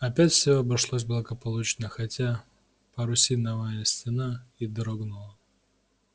опять все обошлось благополучно хотя парусиновая стена и дрогнула